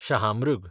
शहामृग